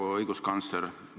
Proua õiguskantsler!